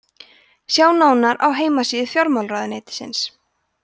sjá nánar á heimasíðu fjármálaráðuneytisins